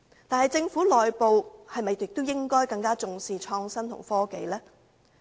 但是，政府內部是否亦應更重視創新及科技呢？